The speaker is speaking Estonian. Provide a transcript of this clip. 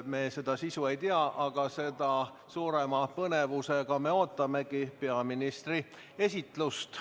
Me selle sisu ei tea, aga seda suurema põnevusega ootamegi peaministri esitlust.